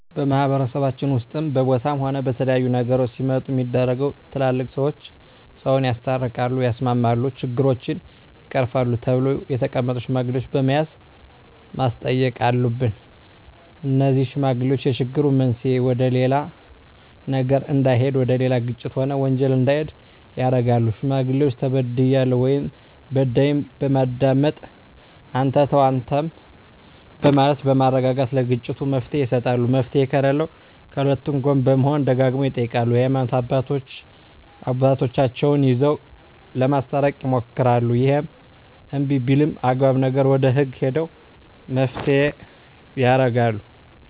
በማህበረሰባችን ውስጥም በቦታም ሆነ በተለያዩ ነገሮች ሲመጡ ሚደረገው ትላልቅ ሰዎች ሰውን ያስታርቃል ያስማማሉ ችግሮችን ይቀርፋሉ ተብለው የተቀመጡ ሽማግሌዎች በመያዝ ማስተየቅ አሉብን እነዜህ ሽማግሌዎች የችግሩ መንሰየ ወደሌላ ነገር እዳሄድ እና ወደሌላ ግጭት ሆነ ወንጀል እንዲሄድ ያረጋሉ ሽማግሌዎች ተበድያለሁ ወይም በዳይን በማዳመጥ አንተ ተው አንተም በማለት በማረጋጋት ለግጭቱ መፍትሔ ይሰጣሉ መፍትሔ ከለለውም ከሁለቱ ጎን በመሆን ደጋግመው ይጠይቃሉ የሀይማኖት አባቶቻቸው ይዘው ለማስታረቅ ይሞክራሉ እሄም እንብይ ቢልም አግባብ ነገር ወደ ህግ ሄደው መፋተየ ያረጋሉ